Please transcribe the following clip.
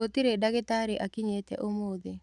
Gũtirĩdagĩtarĩakinyĩte ũmũthĩ.